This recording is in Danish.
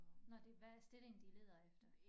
Nåh det hvad er stillingen de leder efter